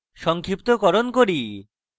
সংক্ষিপ্তকরণ করি